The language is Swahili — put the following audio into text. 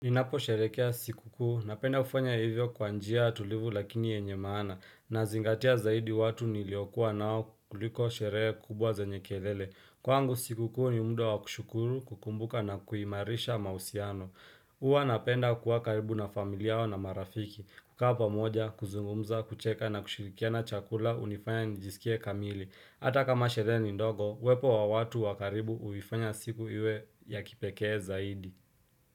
Ninapo sherehekea siku kuu, napenda kufanya hivyo kwa njia tulivu lakini yenye maana nazingatia zaidi watu niliokuwa nao kuliko sherehe kubwa zenye kelele. Kwangu siku kuu ni mda wa kushukuru kukumbuka na kuimarisha mahusiano. Huwa napenda kuwa karibu na familia na marafiki, kukaa pamoja, kuzungumza, kucheka na kushirikiana chakula hunifanya nijisikie kamili. Hata kama sherehe ni ndogo, uwepo wa watu wakaribu huifanya siku iwe ya kipekee zaidi.